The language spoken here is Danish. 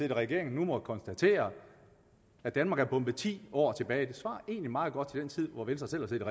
i regering nu må konstatere at danmark er bombet ti år tilbage det svarer egentlig meget godt til den tid venstre selv